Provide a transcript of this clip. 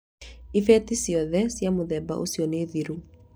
Ibeti ciothe cia mũthemba ũcio nĩ thiru.